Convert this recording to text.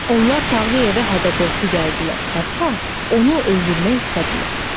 Onlar Tağıyevə hədə-qorxu gəldilər, hətta onu öldürmək istədilər.